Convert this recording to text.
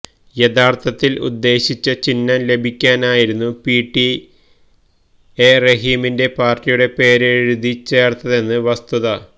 യഥാർത്ഥത്തിൽ ഉദ്ദേശിച്ച ചിഹ്നം ലഭിക്കാനായിരുന്നു പിടിഎ റഹീമിന്റെ പാർട്ടിയുടെ പേര് എഴുതി ചേർത്തതെന്നാണ് വസ്തുത